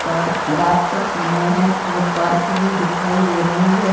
Park रात का समय है बहुत पार्क भी दिखाई दे रही है।